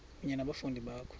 kunye nabafundi bakho